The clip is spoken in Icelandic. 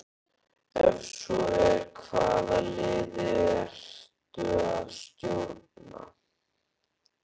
Ef svo er, hvaða liði ertu að stjórna?